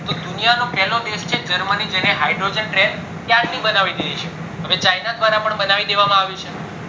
તો દુનિયા નો પેલો દેશ છે germany જેને hydrogen train ક્યારની બનાવી દીધી હતી હવે china દ્વારા પણ બનાવી દેવામાં આવી છે